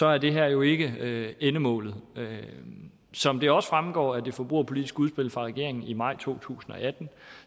er det her jo ikke endemålet som det også fremgår af det forbrugerpolitiske udspil fra regeringen i maj to tusind og atten